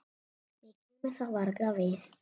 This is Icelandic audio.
Mér kemur það varla við.